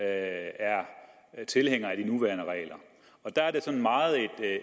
er tilhænger af de nuværende regler der er det sådan meget